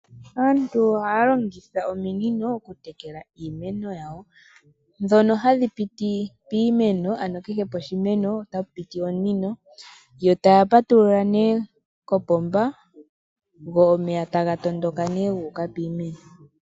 Aantu ohaya longitha ominino oku tekela iimeno yawo, dhono hadhi piti piimeno ano kehe poshimeno otapu piti omunino. Yo taya patulula nee kopomba go omeya taga tondoka nee gu uka piimeno.